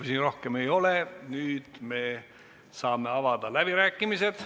Küsimusi rohkem ei ole, nüüd me saame avada läbirääkimised.